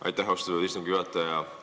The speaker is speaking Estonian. Aitäh, austatud istungi juhataja!